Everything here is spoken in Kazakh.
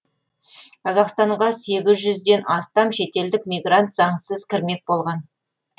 қазақстанға сегіз жүзден астам шетелдік мигрант заңсыз кірмек болған